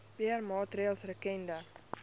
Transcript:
beheer maatreëls rakende